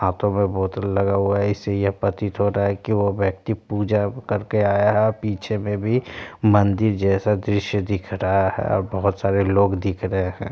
हाथों मे बोतल लगा हुआ है इससे ये प्रतीत हो रहा है कि वो व्यक्ति पूजा करके आया है और पीछे मे भी मंदिर जैसा दृश्य दिख रहा है और बहुत सारे लोग दिख रहे है ।